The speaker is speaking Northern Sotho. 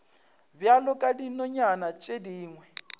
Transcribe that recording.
bjalo ka dinonyana tše dingwe